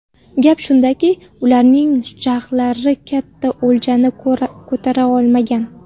Gap shundaki, ularning jag‘lari katta o‘ljani ko‘tara olmagan.